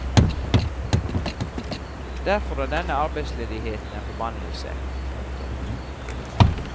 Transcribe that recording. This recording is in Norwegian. Derfor er denne arbeidsledigheten en forbannelse. punktum